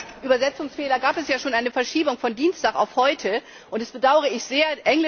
Wegen dieser Übersetzungsfehler gab es ja schon eine Verschiebung von Dienstag auf heute und das bedaure ich sehr.